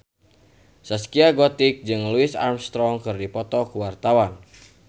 Zaskia Gotik jeung Louis Armstrong keur dipoto ku wartawan